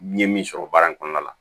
N ye min sɔrɔ baara in kɔnɔna la